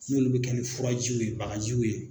N'olu bi kɛ ni furajiw ye bagajiw ye.